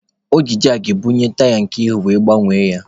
O ji jakị bunie taya nke ihu were gbanwee ya.